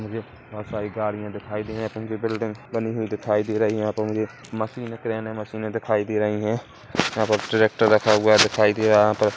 मुझे बहोत सारी गाड़ियाँ दिखाई दे ऊँची बिल्डिंग बनी हुई दिखाई दे रही है यहाँ पर मुझे मशीन क्रेने मशीने दिखाई दे रही है यहाँ प ट्रैक्टर रखा हुआ दिखाई दे रहा है यहाँ प --